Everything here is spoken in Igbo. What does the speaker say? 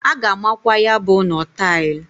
A ga-amakwa ya bụ ụnọ tail.